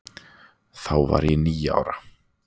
Þá var ég níu ára.